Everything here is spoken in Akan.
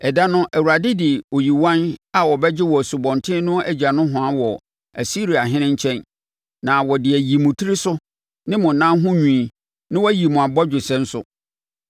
Ɛda no, Awurade de oyiwan a ɔbɛgye wɔ Asubɔnten no agya nohoa wɔ Asiriahene nkyɛn, na ɔde ayi motiri so ne monan ho nwi na wayi mo abɔgyesɛ nso.